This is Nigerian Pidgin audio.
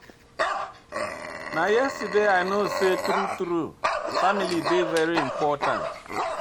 Na yesterday I know sey true-true family dey very important.